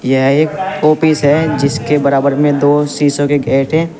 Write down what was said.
यह एक ओपिस है जिसके बराबर में दो सीसो के गेट हैं।